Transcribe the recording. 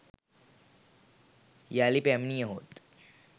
යළි පැමිණියහොත්